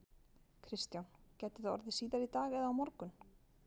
Kristján: Gæti það orðið síðar í dag eða á morgun?